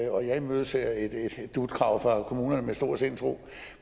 og jeg imødeser et dut krav fra kommunerne med stor sindsro